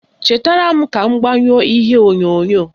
Chetara m ka m gbanyụọ ihe onyonyo